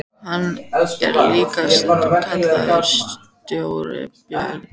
Hann er líka stundum kallaður Stóri björn.